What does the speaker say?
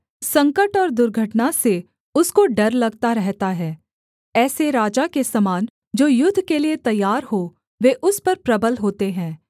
संकट और दुर्घटना से उसको डर लगता रहता है ऐसे राजा के समान जो युद्ध के लिये तैयार हो वे उस पर प्रबल होते हैं